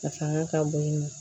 A fanga ka bon